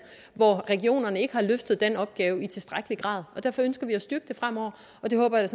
hvor regionerne ikke har løftet den opgave i tilstrækkelig grad derfor ønsker vi at styrke det fremover og det håber jeg